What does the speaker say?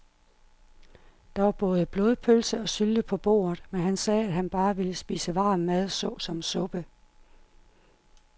Der var både blodpølse og sylte på bordet, men han sagde, at han bare ville spise varm mad såsom suppe.